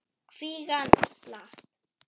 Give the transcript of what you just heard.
Kvígan slapp.